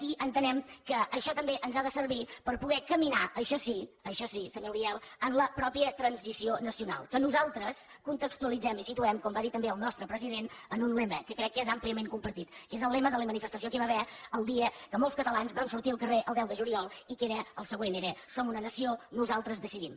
i entenem que això també ens ha de servir per poder caminar això sí això sí senyor uriel en la mateixa transició nacional que nosaltres contextualitzem i situem com va dir també el nostre president en un lema que crec que és àmpliament compartit que és el lema de la manifestació que hi va haver el dia que molts catalans vam sortir al carrer el deu de juliol i que era el següent era som una nació nosaltres decidim